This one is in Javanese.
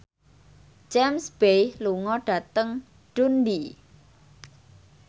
James Bay lunga dhateng Dundee